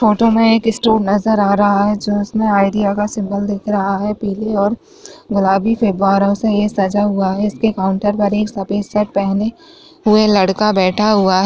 Photo में एक store नजर आ रहा है जिसमें आइडिया का सिंबल दिख रहा है पीली और गुलाबी फव्वारों से यह सजा हुआ है इसके काउंटर पर एक सफेद शर्ट पहने हुए लड़का बैठा हुआ है।